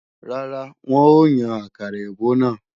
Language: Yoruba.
Rárá, wọn ò yàn àkàrà èbó náà